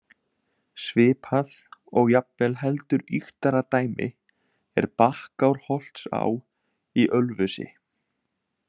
Svipað og jafnvel heldur ýktara dæmi er Bakkárholtsá í Ölfusi.